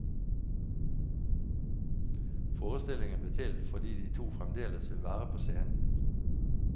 Forestillingen ble til fordi de to fremdeles vil være på scenen.